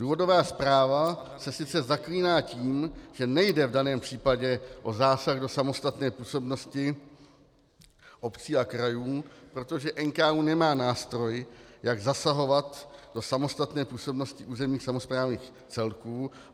Důvodová zpráva se sice zaklíná tím, že nejde v daném případě o zásah do samostatné působnosti obcí a krajů, protože NKÚ nemá nástroj, jak zasahovat do samostatné působnosti územních samosprávných celků.